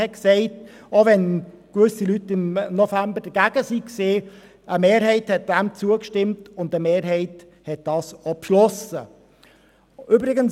Auch wenn gewisse Leute im November dagegen waren, stimmte eine Mehrheit zu und beschloss dies.